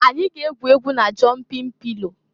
Anyị ga-egwu egwu na jọnpịn pịlo.